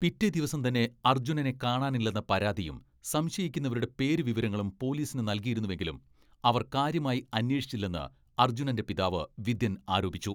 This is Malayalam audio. പിറ്റേ ദിവസം തന്നെ അർജുനനെ കാണാനില്ലെന്ന പരാതിയും, സംശയിക്കുന്നവരുടെ പേരു വിവരങ്ങളും പൊലീസിന് നൽകിയിരുന്നെങ്കിലും അവർ കാര്യമായി അന്വേഷിച്ചില്ലെന്ന് അർജുനന്റെ പിതാവ് വിതിൻ ആരോപിച്ചു.